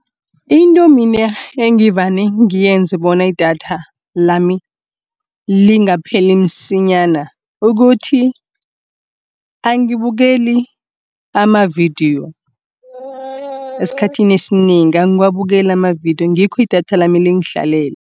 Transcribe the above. Into mina engivane ngiyenze bona idatha lami lingapheli msinyana ukuthi, angabukeli amavidiyo. Esikhathini esinengi angiwabukeli amavidiyo ngikho idatha lami lingihlalela.